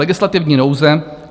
Legislativní nouze.